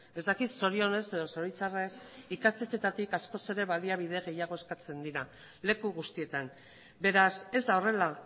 ez dakit zorionez edo zoritxarrez ikastetxeetatik askoz ere baliabide gehiago eskatzen dira leku guztietan beraz ez da horrela